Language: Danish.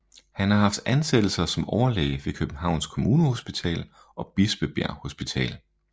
Han har haft ansættelser som overlæge ved Københavns Kommunehospital og Bispebjerg Hospital